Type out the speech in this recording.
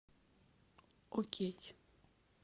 окей